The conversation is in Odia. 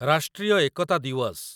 ରାଷ୍ଟ୍ରୀୟ ଏକତା ଦିୱସ